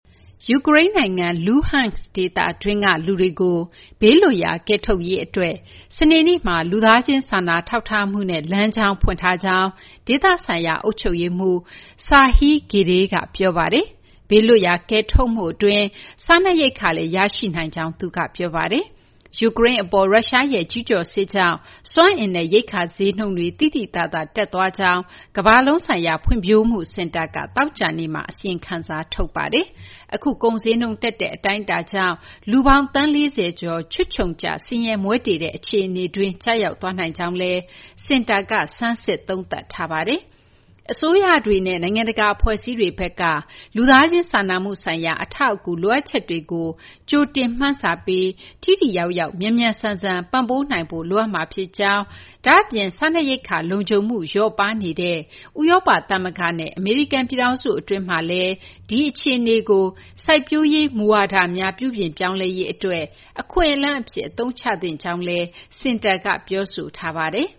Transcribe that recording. ယူကရိန်းနိုင်ငံ Luhansk ဒေသတွင်းက လူတွေကို ဘေးလွတ်ရာ ကယ်ထုတ်နိုင်ရေးအတွက် စနေနေ့မှာ လူသားချင်း စာနာထောက်ထားမှုနဲ့ လမ်းကြောင်းဖွင့်ထားကြောင်း ဒေသဆိုင်ရာ အုပ်ချုပ်ရေးမှူး Serhiy Gaiday က ပြောပါတယ်။ ဘေးလွတ်ရာ ကယ်ထုတ်မှုအတွင်း စားနပ်ရိက္ခာ ရရှိနိုင်ကြောင်းလည်း သူက ပြောပါတယ်။ ယူကရိန်းအပေါ် ရုရှားရဲ့ ကျူးကျော်စစ်ကြောင့် စွမ်းအင်နဲ့ ရိက္ခာဈေးနှုန်းတွေ သိသိသာသာ တက်သွားကြောင်း ကမ္ဘာလုံးဆိုင်ရာ ဖွံ့ဖြိုးမှုစင်တာက သောကြာနေ့မှာ အစီရင်ခံစာ ထုတ်ပါတယ်။ အခု ကုန်ဈေးနှုန်းတက်တဲ့ အတိုင်းအတာကြောင့် လူပေါင်း သန်း ၄၀ ကျော် ချွတ်ခြုံကျ ဆင်းရဲမွဲတေတဲ့ အခြေအနေတွင်း ကျရောက်သွားနိုင်ကြောင်းလည်း စင်တာက ဆန်းစစ် သုံးသပ်ထားပါတယ်။ အစိုးရတွေနဲ့ နိုင်ငံတကာ အဖွဲ့အစည်းတွေဘက်က လူသားချင်း စာနာမှုဆိုင်ရာ အထောက်အကူ လိုအပ်ချက်တွေကို ကြိုတင်မှန်းဆပြီး ထိထိရောက်ရောက် မြန်မြန်ဆန်ဆန် ပံ့ပိုးနိုင်ဖို့ လိုအပ်မှာဖြစ်ကြောင်း၊ ဒါ့အပြင် စားနပ်ရိက္ခာ လုံခြုံမှု လျော့ပါးနေတဲ့ ဥရောပသမဂ္ဂနဲ့ အမေရိကန်ပြည်ထောင်စု အတွင်းမှာလည်း ဒီအခြေအနေကို စိုက်ပျိုးရေး မူဝါဒများ ပြုပြင်ပြောင်းလဲရေးအတွက် အခွင့်အလမ်းအဖြစ် အသုံးချသင့်ကြောင်းလည်း စင်တာက ပြောဆိုထားပါတယ်